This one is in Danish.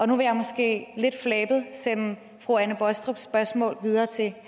nu vil jeg måske lidt flabet sende fru anne baastrups spørgsmål videre til